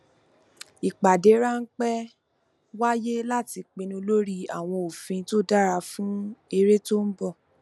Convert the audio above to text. ìpádé ránpẹ wáyé láti pinnu lórí àwọn òfin tó dára fún erè tó n bọ